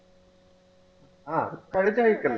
ആഹ് കഴിഞ്ഞ ആഴ്ചയല്ലേ